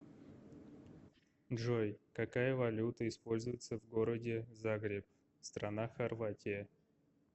джой какая валюта используется в городе загреб страна хорватия